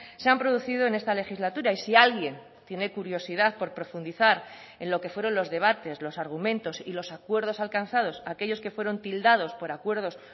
se han producido en esta legislatura y si alguien tiene curiosidad por profundizar en lo que fueron los debates los argumentos y los acuerdos alcanzados aquellos que fueron tildados por acuerdos